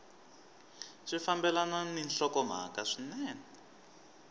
swi fambelana ni nhlokomhaka swinene